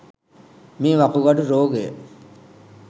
මේ වකුගඩු රෝගය